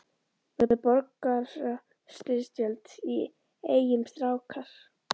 Verður borgarastyrjöld í Eyjum strákar?